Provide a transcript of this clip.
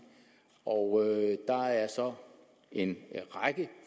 og der er så en række